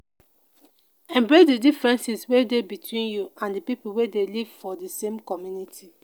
embrace the differences wey dey between you and di pipo wey dey live for di same community